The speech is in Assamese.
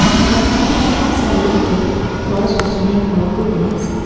পথাৰখনৰ চাৰিওদিশে গছ গছনিৰে ভৰপূৰ হৈ আছে।